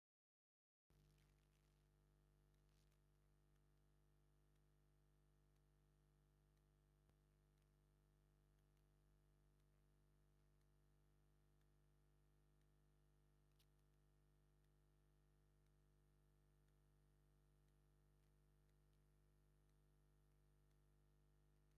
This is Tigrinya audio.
እዚ ጽቡቕ ተፈጥሮኣዊ ሃዋህው ዘርኢ እዩ። ብጸጋም ሓምላይ ግራውቲ፡ ኣብ ማእከል ናይ ሓመድ መንገዲ፡ ብየማን ድማ ብብዙሕ ኣኻውሕ ዝተመልአ ሩባ ኣሎ። ኣብ ከምዚ ዝበለ ተፈጥሮኣዊ ሃዋህው ክትገይሽ ወይ ክትዝናነ ትደሊ ዲኻ? ንምንታይ?